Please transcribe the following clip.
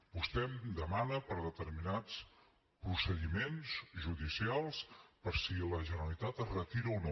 vostè em demana per determinats procediments judicials per si la generalitat se’n retira o no